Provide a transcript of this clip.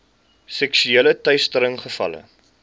seksuele teistering gevalle